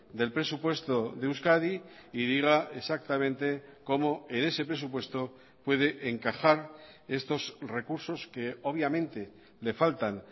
del presupuesto de euskadi y diga exactamente cómo en ese presupuesto puede encajar estos recursos que obviamente le faltan